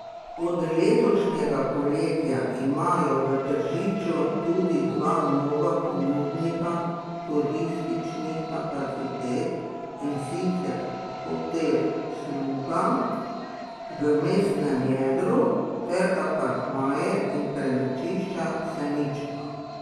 Od letošnjega poletja imajo v Tržiču tudi dva nova ponudnika turističnih kapacitet, in sicer Hotel Sluga v mestnem jedru ter Apartmaje in prenočišča Senično.